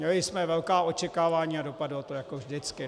Měli jsme velká očekávání a dopadlo to jako vždycky.